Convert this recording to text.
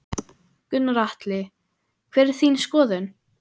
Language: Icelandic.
Gunnar Atli: Hver er þín skoðun?